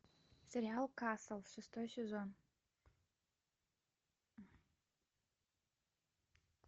сериал касл шестой сезон